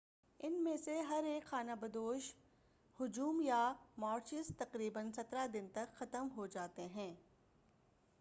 ان میں سے ہر ایک خانہ بدوش ہجوم یا مارچز تقریباً 17 دن تک ختم ہو جاتے ہیں